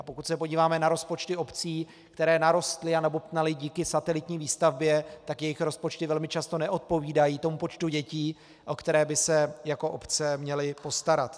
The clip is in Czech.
A pokud se podíváme na rozpočty obcí, které narostly a nabobtnaly díky satelitní výstavbě, tak jejich rozpočty velmi často neodpovídají tomu počtu dětí, o které by se jako obce měly postarat.